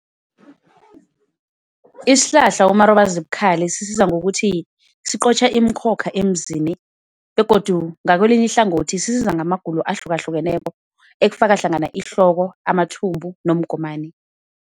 Isihlahla umarobazibukhali sisiza ngokuthi siqotjha imikhokha emzini, begodu ngakwelinye ihlangothi sisiza ngamagulo ahlukahlukeneko ekufaka hlangana ihloko, amathumbu nomgomani.